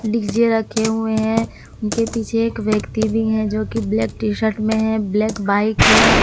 DJ रखे हुए हैं उनके पीछे एक व्यक्ति भी हैं जो कि ब्लैक टी शर्ट में हैं ब्लैक बाइक है।